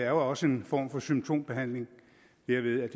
jo også en form for symptombehandling derved at